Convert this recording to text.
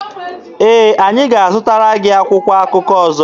Ee, anyị ga-azụtara gị akwụkwọ akụkọ ọzọ.